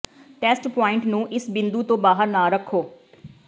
test point ਨੂੰ ਇਸ ਬਿੰਦੂ ਤੋਂ ਬਾਹਰ ਨਾ ਰੱਖੋ